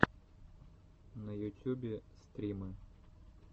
на ютюбе стримы